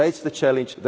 That is the challenge.